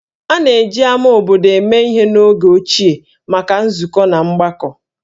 A na-eji ámá obodo eme ihe n'oge ochie maka nzukọ na mgbakọ